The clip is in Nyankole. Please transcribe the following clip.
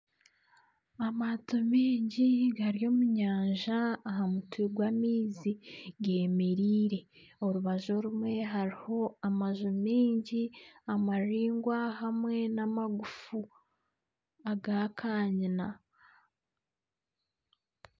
Amaato maingi gari omunyanja aha mutwe gw'amaizi, gemereire orubaju orumwe hariho amaju maingi, amaraingwa hamwe nana amagufu, agakanyina.